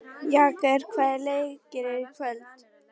Jagger, hvaða leikir eru í kvöld?